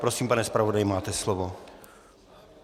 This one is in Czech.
Prosím, pane zpravodaji, máte slovo.